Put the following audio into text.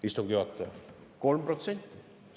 Istungi juhataja, 3%!